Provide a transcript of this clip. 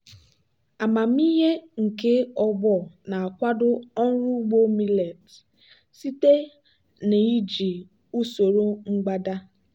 amamihe nke ọgbọ na-akwado ọrụ ugbo millet site na iji usoro mgbada.